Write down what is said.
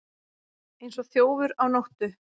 Eins og þjófur á nóttu